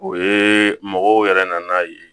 O ye mɔgɔw yɛrɛ nana ye